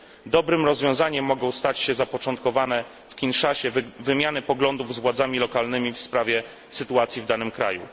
Dobrym rozwiązaniem może stać się zapoczątkowana w Kinszasie wymiana poglądów z władzami lokalnymi w sprawie sytuacji w danym kraju.